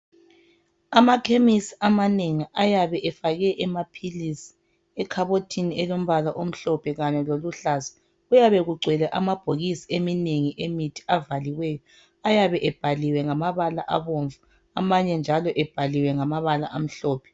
Amakhemisi amanengi ayabe efake amaphilisi ekhabothini elombala omhlophe kanye loluhlaza. Kuyabe kugcwele amabhokisi eminengi emithi avaliweyo. Ayabe ebhaliwe ngamabala abomvu amanye njalo ebhaliwe ngamabala amhlophe.